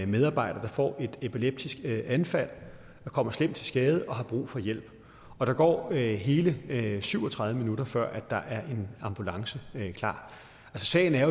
medarbejder der får et epileptisk anfald kommer slemt til skade og har brug for hjælp og der går hele syv og tredive minutter før der er en ambulance klar sagen er